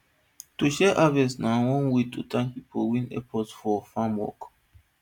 to share harvest na our own way to thank people wey help us for farm work